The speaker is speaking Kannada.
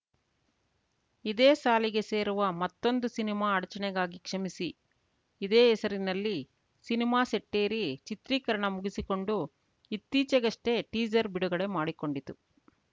ಇದೇ ಸಾಲಿಗೆ ಸೇರುವ ಮತ್ತೊಂದು ಸಿನಿಮಾ ಅಡಚಣೆಗಾಗಿ ಕ್ಷಮಿಸಿ ಇದೇ ಹೆಸರಿನಲ್ಲಿ ಸಿನಿಮಾ ಸೆಟ್ಟೇರಿ ಚಿತ್ರೀಕರಣ ಮುಗಿಸಿಕೊಂಡು ಇತ್ತೀಚೆಗಷ್ಟೆಟೀಸರ್‌ ಬಿಡುಗಡೆ ಮಾಡಿಕೊಂಡಿತು